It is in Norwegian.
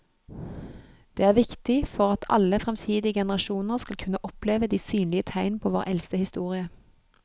Det er viktig for at alle fremtidige generasjoner skal kunne oppleve de synlige tegn på vår eldste historie.